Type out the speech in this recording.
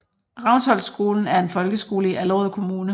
Ravnsholtskolen er en folkeskole i Allerød Kommune